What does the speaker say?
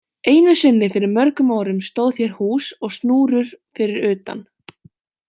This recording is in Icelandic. Einu sinni fyrir mörgum árum stóð hér hús og snúrur fyrir utan.